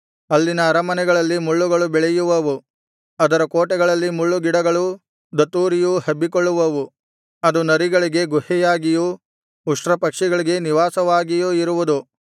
ಅಲ್ಲಿನ ಅರಮನೆಗಳಲ್ಲಿ ಮುಳ್ಳುಗಳು ಬೆಳೆಯುವವು ಅದರ ಕೋಟೆಗಳಲ್ಲಿ ಮುಳ್ಳುಗಿಡಗಳೂ ದತ್ತೂರಿಯೂ ಹಬ್ಬಿಕೊಳ್ಳುವವು ಅದು ನರಿಗಳಿಗೆ ಗುಹೆಯಾಗಿಯೂ ಉಷ್ಟ್ರಪಕ್ಷಿಗಳಿಗೆ ನಿವಾಸವಾಗಿಯೂ ಇರುವುದು